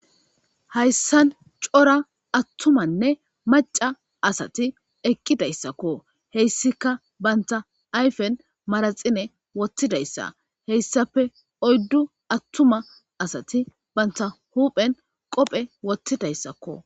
hayssan cora attumanne maca asati eqqidayssakko heyssika banta ayfen maraxine wottidayssa heyssape oyddu attuma asati banta huphen qophe wottidayssakko